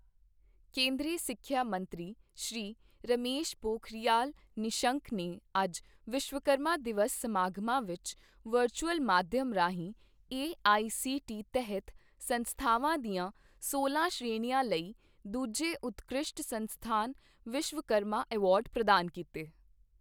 ਕੇਂਦਰੀ ਸਿੱਖਿਆ ਮੰਤਰੀ ਸ੍ਰੀ ਰਮੇਸ਼ ਪੋਖਰਿਯਾਲ ਨਿਸ਼ੰਕ ਨੇ ਅੱਜ ਵਿਸ਼ਵਕਰਮਾ ਦਿਵਸ ਸਮਾਗਮਾਂ ਵਿਚ ਵਰਚੂਆਲ ਮਾਧਿਆਮ ਰਾਹੀਂ ਏਆਈਸੀਟੀ ਤਹਿਤ ਸੰਸਥਾਵਾਂ ਦੀਆਂ ਸੋਲਾਂ ਸ਼੍ਰੇਣੀਆਂ ਲਈ ਦੂਜੇ ਉਤਕ੍ਰਿਸ਼ਟ ਸੰਸਥਾਨ ਵਿਸ਼ਵਕਰਮਾ ਐਵਾਰਡ ਪ੍ਰਦਾਨ ਕੀਤੇ।